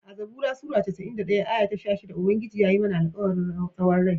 A'zabura sura casa'in da ɗaya aya ta sha shidda, Ubangiji yayi mana alkawarin tsawon rai.